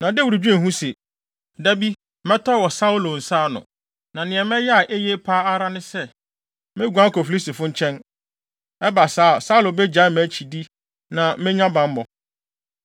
Na Dawid dwen ho se, “Da bi, mɛtɔ wɔ Saulo nsa ano. Na nea mɛyɛ a eye pa ara ne sɛ, meguan akɔ Filistifo nkyɛn. Ɛba saa a, Saulo begyae mʼakyidi na menya bammɔ.”